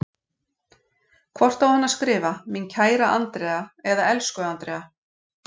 Hvort á hann að skrifa, mín kæra Andrea eða elsku Andrea?